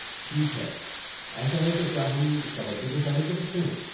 ٹھیک ہے، ایسا ہے تو کیا ہم کبڈی کو شامل کر سکتے ہیں؟